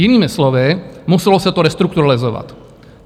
Jinými slovy, muselo se to restrukturalizovat.